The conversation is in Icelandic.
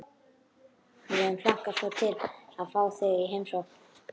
Við höfum hlakkað svo til að fá þig í heimsókn